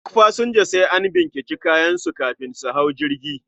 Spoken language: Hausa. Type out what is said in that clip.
Duk pasanja sai an binciki kayan su kafin su hau jirgi